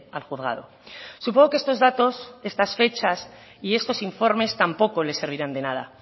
al juzgado supongo que estos datos estas fechas y estos informes tampoco les servirán de nada